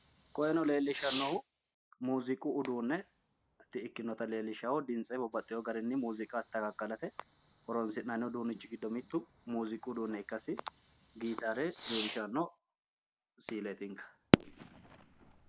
Koyeeno leellishshannohu mooziiqu uduunne ikkinotaati leellishshannohu dimtse babbaxxeewo garinni mooziiqa asitakaakkalate horoonsi'nanni uduunnichi giddo mittu mooziiqu uduunne ikkasi gitaare leellishshanno siileetinka.